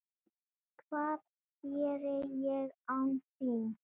Hvað geri ég án þín?